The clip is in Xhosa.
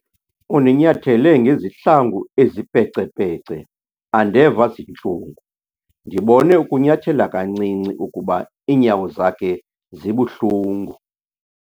Undinyathele ngezihlangu ezipecepece andeva zintlungu. ndibone ukunyathela kancinci ukuba iinyawo zakhe zibuhlungu